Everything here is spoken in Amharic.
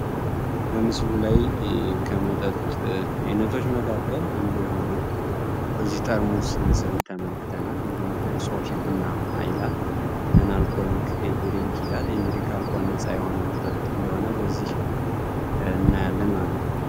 በሙስሊም ላይ ከመጣ አይነቶች መካከል አንዱ የሆነውን ጋዜጠኛ መልክተናል ቡና አይላል እንግዲህ ነጻ የሆነ መጠጥ እንደሆነ በዚህ አለ ማለት ነው